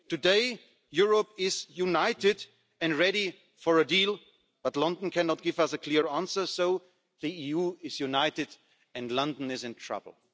Today, Europe is united and ready for a deal, but London cannot give us a clear answer, so the EU is united and London is in trouble.